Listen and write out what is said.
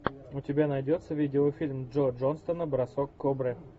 у тебя найдется видеофильм джо джонстона бросок кобры